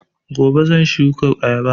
Gobe shan shuka ayaba